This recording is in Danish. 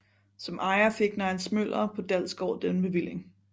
Som ejer fik Neils Møller på Dalsgård denne bevilling